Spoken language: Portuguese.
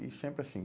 E sempre assim.